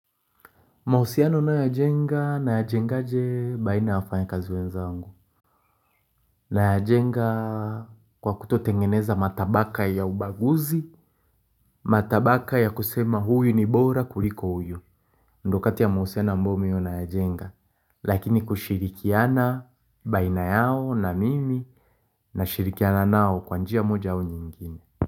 Mausiano ninayoyajenga nayajengaje baina ya wafanyakazi wenzangu. Na ya jenga kwa kutotengeneza matabaka ya ubaguzi. Matabaka ya kusema huyu ni bora kuliko huyu. Ndo kati ya mahusiano ambayo mimi nayajenga. Lakini kushirikiana baina yao na mimi nashirikiana nao kwa njia moja au nyingine.